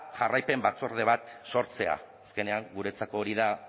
jarraipen batzorde bat sortzea azkenean guretzako hori da